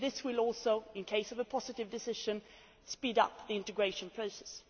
This will also, in the case of a positive decision, speed up the integration process.